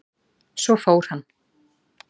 Svo fór hann.